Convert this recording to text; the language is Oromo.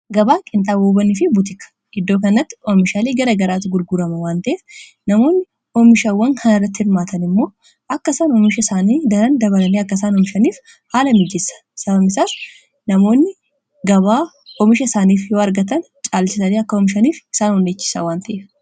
gabaaqiin dhaabobanii fi butika iddoo kannatti oomishaalii gara garaati gulgurama waanteef namoonni oomishaawwan kaan irratti hirmaatan immoo akka isaan oomisha isaanii daran dabalanii akkaisaan hoomishaniif haala miijisa sabamisar namoonni gabaa oomisha isaaniif yoo argatan caalchisanii akka oomishaniif isaan hunnechisa wanteef